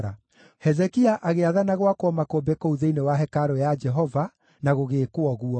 Hezekia agĩathana gwakwo makũmbĩ kũu thĩinĩ wa hekarũ ya Jehova, na gũgĩĩkwo ũguo.